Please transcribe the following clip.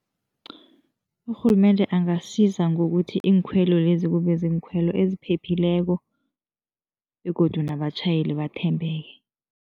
Urhulumende angasiza ngokuthi iinkhwelo lezi, kube ziinkhwelo eziphephileko begodu nabatjhayeli bathembeke.